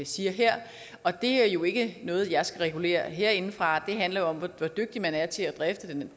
siger her og det er jo ikke noget jeg skal regulere herindefra det handler jo om hvor dygtig man er til at drifte den